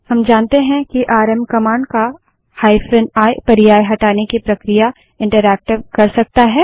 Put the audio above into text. हम जानते हैं कि आरएम कमांड का हाइफन आई पर्याय हटाने की प्रक्रिया इंटरैक्टिव कर सकता है